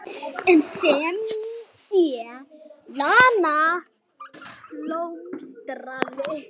En sem sé, Lena blómstraði.